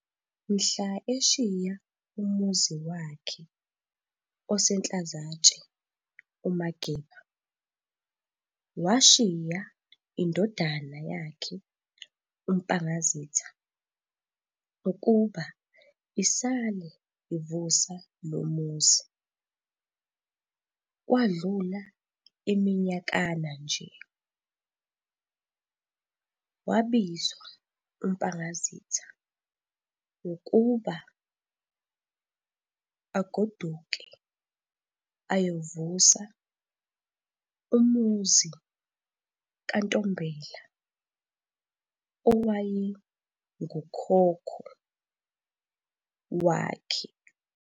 Mhla eshiya umuzi wakhe oseNhlazatshe uMageba, washiya indodana yakhe uMpangazitha ukuba isale ivusa lomuzi. Kwadlula iminyakana-nje, wabizwa uMpangazitha ukuba agoduke ayovusa umuzi kaNtombela owaye ngukhokho wakhe.